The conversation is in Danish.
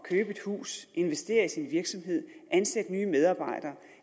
et hus investere i sin virksomhed ansætte nye medarbejdere